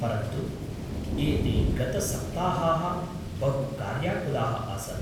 परन्तु एते गतसप्ताहाः बहु कार्याकुलाः आसन्।